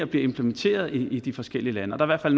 bliver implementeret i de forskellige lande og der er